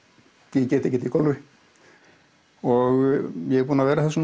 ég get ekkert í golfi og ég er búinn að vera að þessu